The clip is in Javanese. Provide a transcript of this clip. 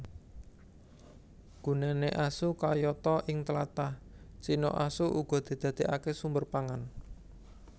Gunané asu kayata Ing tlatah Cina asu uga didadèkaké sumber pangan